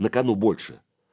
на кану больше